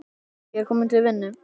Ég er kominn til vinnu.